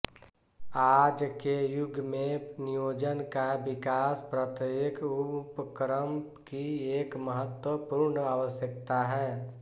आज के युग में नियोजन का विकास प्रत्येक उपक्रम की एक महत्वपूर्ण आवश्यकता है